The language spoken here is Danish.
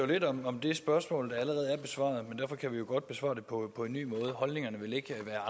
lidt om om det spørgsmål der allerede er besvaret men derfor kan vi jo godt besvare det på en ny måde holdningerne vil ikke være